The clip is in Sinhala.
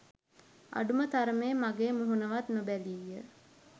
අඩුම තරමේ මගේ මුහුණවත් නොබැලීය